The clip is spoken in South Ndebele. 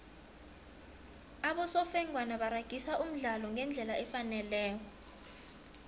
abosofengwana baragisa umdlalo ngendlela efaneleko